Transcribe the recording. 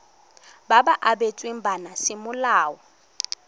ba ba abetsweng bana semolao